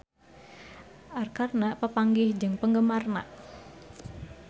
Arkarna papanggih jeung penggemarna